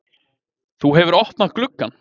Þú hefur opnað gluggann!